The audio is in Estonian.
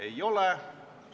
Ei ole.